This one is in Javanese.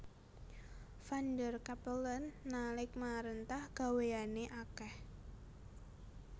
Van der Capellen nalik maréntah gawéyané akèh